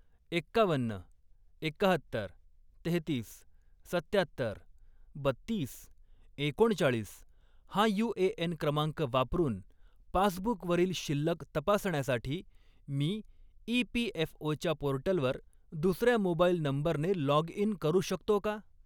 एक्कावन्न, एक्काहत्तर, तेहेतीस, सत्त्यात्तर, बत्तीस, एकोणचाळीस हा यू.ए.एन. क्रमांक वापरून पासबुकवरील शिल्लक तपासण्यासाठी मी ई.पी.एफ.ओ.च्या पोर्टलवर दुसर्या मोबाईल नंबरने लॉग इन करू शकतो का?